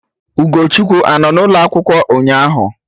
Ugochukwu anọ n'ụlọ akwụkwọ ụnyaahụ?